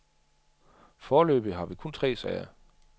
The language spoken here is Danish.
Foreløbig har vi kun tre sager.